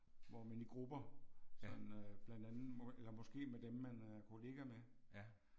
Hvor man i grupper sådan øh blandt andet må eller måske med dem man er kollega med